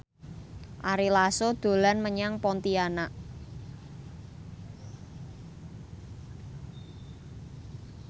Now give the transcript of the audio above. Ari Lasso dolan menyang Pontianak